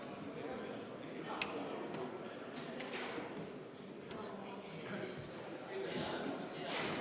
Austatud Riigikogu, kuulutan hääletamise Riigikogu esimehe valimisel lõppenuks.